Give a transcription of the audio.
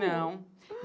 Não.